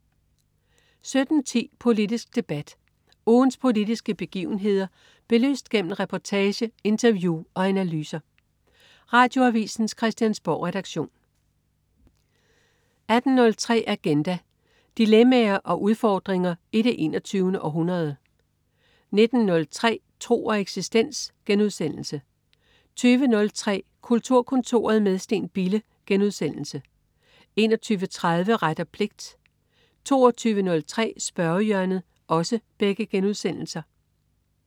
17.10 Politisk debat. Ugens politiske begivenheder belyst gennem reportage, interview og analyser. Radioavisens Christiansborgredaktion 18.03 Agenda. Dilemmaer og udfordringer i det 21. århundrede 19.03 Tro og eksistens* 20.03 Kulturkontoret med Steen Bille* 21.30 Ret og pligt* 22.03 Spørgehjørnet*